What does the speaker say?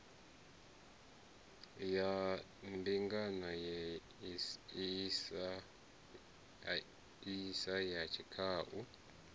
ya mbingano isi ya tshikhau